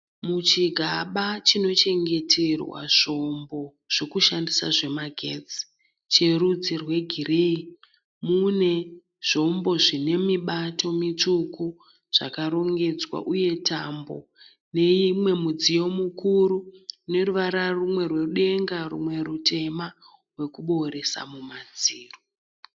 Muchigaba chinochengeterwa zvombo zvokushandisa zvemagetsi cherudzi rwegireyi. Mune zvombo zvine mibato mitsviku zvakarongedzwa uye tambo neumwe mudziyo mukuru une ruvara rumwe rwedenga rumwe rutema wekubooresa mumadziro.